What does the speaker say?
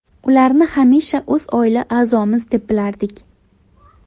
Ularni hamisha o‘z oila a’zomiz deb bilardik.